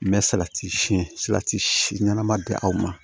N bɛ salati siyɛn salati si ɲɛnama di aw ma